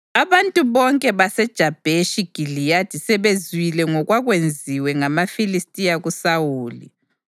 Abantu bonke baseJabheshi Giliyadi sebezwile ngokwakwenziwe ngamaFilistiya kuSawuli,